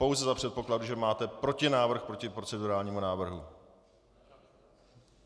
Pouze za předpokladu, že máte protinávrh proti procedurálnímu návrhu.